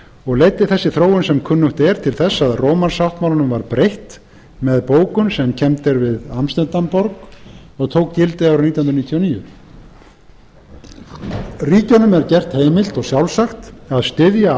og leiddi þessi þróun sem kunnugt er til þess að rómarsáttmálanum var breytt með bókun sem kennd er við amsterdamborg og tók gildi árið nítján hundruð níutíu og níu ríkjunum er gert heimilt og sjálfsagt að styðja